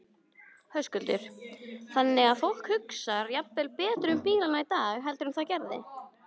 Höskuldur: Þannig að fólk hugsar jafnvel betur um bílana í dag heldur en það gerði?